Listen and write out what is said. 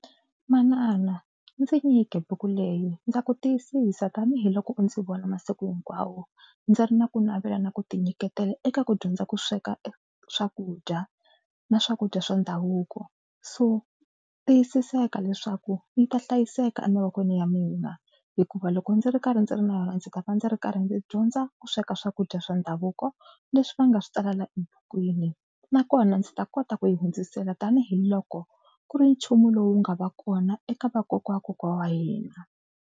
Manana ndzi nyike buku leyi. Ndza ku tiyisisa tanihiloko u ndzi vona masiku hinkwawo ndzi ri na ku navelana ku tinyiketela eka ku dyondza ku sweka e swakudya na swakudya swa ndhavuko so tiyisiseka leswaku yi ta hlayiseka emavokweni ya mina hikuva loko ndzi ri karhi ndzi ri na yona ndzi ta va ndzi ri karhi ndzi dyondza ku sweka swakudya swa ndhavuko leswi va nga swi tsalela ebukwini nakona ndzi ta kota ku yi hundzisela tanihiloko ku ri nchumu lowu nga va kona eka vakokwa wa kokwana wa hina.